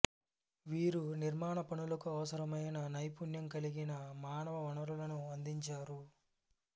వీరు నిర్మాణ పనులకు అవసరమైన నైపుణ్యం కలిగిన మానవ వనరులను అందించారు